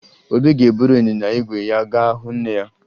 Obi ga-eburu ịnyịnya ígwè ya ga hụ nne ya